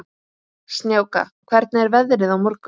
Snjáka, hvernig er veðrið á morgun?